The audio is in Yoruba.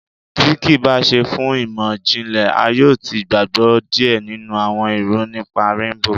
Tí kìí bá ṣe fún ìmọ̀-jinlẹ, a yóò ti gbàgbọ́ díẹ̀ nínú àwọn irọ nípa Réńbò